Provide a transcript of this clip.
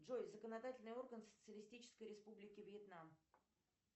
джой законодательный орган социалистической республики вьетнам